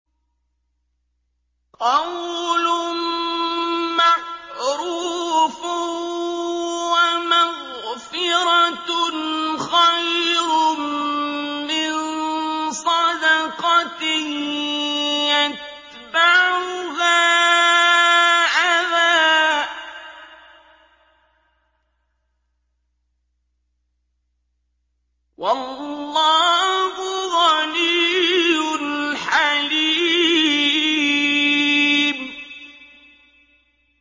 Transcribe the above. ۞ قَوْلٌ مَّعْرُوفٌ وَمَغْفِرَةٌ خَيْرٌ مِّن صَدَقَةٍ يَتْبَعُهَا أَذًى ۗ وَاللَّهُ غَنِيٌّ حَلِيمٌ